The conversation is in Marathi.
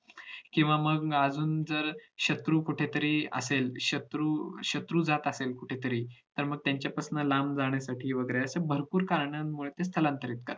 किंवा मग अजून जर शत्रू कुठे तरी असेल शत्रू शत्रू जात असेल कुठंतरी तर मग त्यांच्यापासून लांब जाणण्यासाठी वैगेरे अशी भरपूर कारण मुळे ते स्थलांतरित करतात